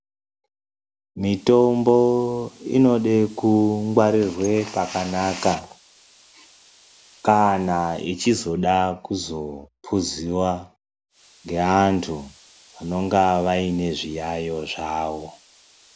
Mitombo inode kungwarirwa pakanaka ,kana ichizoda kuzopuziwa ngeantu anenge ane zviyayo zvavo.